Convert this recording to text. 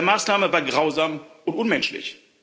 Diese Maßnahme war grausam und unmenschlich.